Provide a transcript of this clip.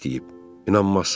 İnanmazsan.